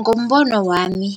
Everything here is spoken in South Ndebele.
Ngombono wami